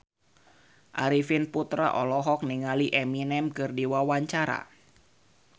Arifin Putra olohok ningali Eminem keur diwawancara